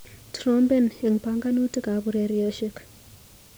Trompen eng panganutikap urerioshek.